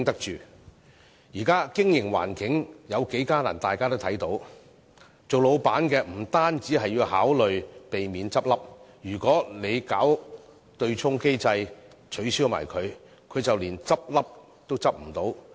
現時的經營環境有多艱難，大家都看得到，老闆不止要考慮避免結業，如果取消對沖機制，他便連結業都不能。